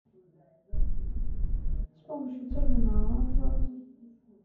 с помощью терминала оплаты